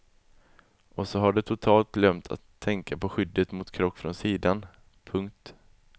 Och så har de totalt glömt att tänka på skyddet mot krock från sidan. punkt